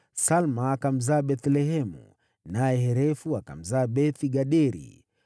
Salma akamzaa Bethlehemu, naye Harefu akamzaa Beth-Gaderi.